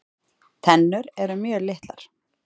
Tennur eru mjög litlar.